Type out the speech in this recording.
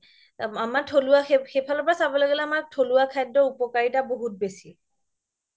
আমাৰ থ্লুৱা সেইফালৰ পৰা চাবলৈ গ্'লে আমাৰ থ্লুৱা খাদ্য উপকাৰিতা বহুত বেচি